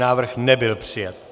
Návrh nebyl přijat.